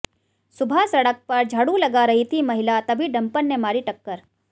सुबह सड़क पर झाड़ू लगा रही थी महिला तभी डंपर ने मारी टक्कर